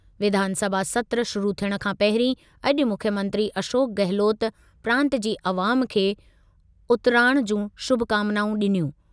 विधानसभा सत्रु शुरू थियण खां पहिरीं अॼु मुख्यमंत्री अशोक गहलोत प्रांत जी अवाम खे उतिराण जूं शुभकामनाऊं ॾिनियूं।